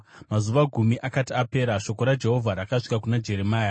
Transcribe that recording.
Mazuva gumi akati apera, shoko raJehovha rakasvika kuna Jeremia.